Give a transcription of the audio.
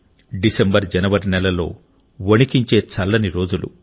December జనవరి నెలల్లో వణికించే చల్లని రోజులు